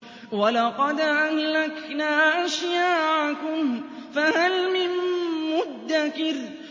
وَلَقَدْ أَهْلَكْنَا أَشْيَاعَكُمْ فَهَلْ مِن مُّدَّكِرٍ